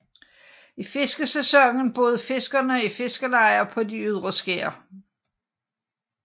I fiskesæsonen boede fiskerne i fiskelejer på de ydre skær